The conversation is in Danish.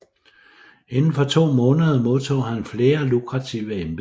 Inden for to måneder modtog han flere lukrative embeder